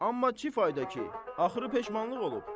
Amma ki fayda ki, axırı peşmanlıq olub.